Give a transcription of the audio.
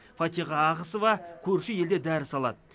фатиха ағысова көрші елде дәріс алады